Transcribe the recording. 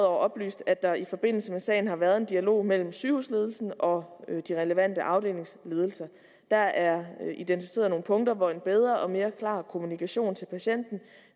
oplyst at der i forbindelse med sagen har været en dialog mellem sygehusledelsen og de relevante afdelingsledelser der er identificeret nogle punkter hvor en bedre og mere klar kommunikation til patienten